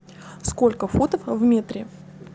сколько футов в метре